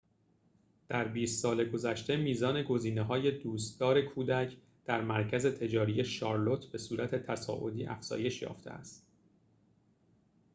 در ۲۰ سال گذشته میزان گزینه‌های دوستدار کودک در مرکز تجاری شارلوت به‌صورت تصاعدی افزایش یافته است